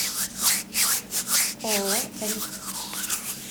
ооо рик